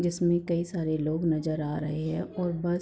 जिसमें कई सारे लोग नजर आ रहे है और बस --